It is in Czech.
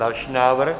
Další návrh.